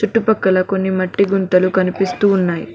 చుట్టూ పక్కల కొన్ని మట్టి గుంతలు కనిపిస్తూ ఉన్నయ్.